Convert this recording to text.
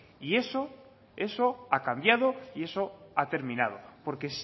y eso eso ha cambiado y eso ha terminado porque